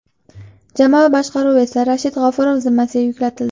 Jamoa boshqaruvi esa Rashid G‘ofurov zimmasiga yuklatildi.